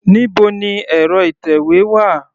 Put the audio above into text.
Níbo ni ẹ̀rọ ìtẹ̀wé wà?